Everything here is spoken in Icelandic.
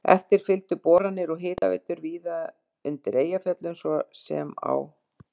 Eftir fylgdu boranir og hitaveitur víðar undir Eyjafjöllum, svo sem á